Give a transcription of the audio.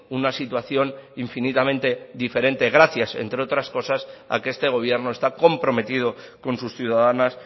una situación infinitamente diferente gracias entre otras cosas a que este gobierno está comprometido con sus ciudadanas